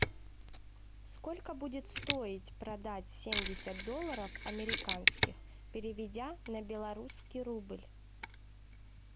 сколько будет стоить продать семьдесят долларов американских переведя на белорусский рубль